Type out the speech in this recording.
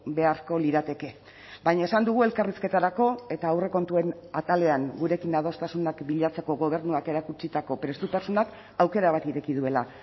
beharko lirateke baina esan dugu elkarrizketarako eta aurrekontuen atalean gurekin adostasunak bilatzeko gobernuak erakutsitako prestutasunak aukera bat ireki duela